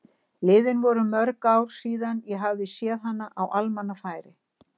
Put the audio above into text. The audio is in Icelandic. Liðin voru mörg ár síðan ég hafði séð hana á almannafæri.